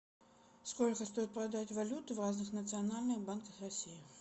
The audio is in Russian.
сколько стоит продать валюту в разных национальных банках россии